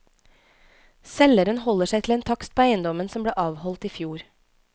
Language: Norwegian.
Selgeren holder seg til en takst på eiendommen som ble avholdt i fjor.